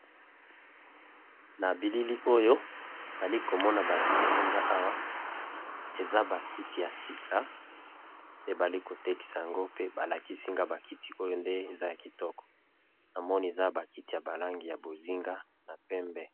Nabilili oyo nalikomona balakisinga awa eza bakiti yasika pe balikotekisayango pe balakisinga bakiti oyo eza yakitoko pe eza nabalangi ya bozinga na pembe nde namoni balakisinga